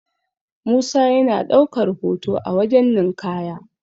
musa yana daukar hoto a wajen ninkaya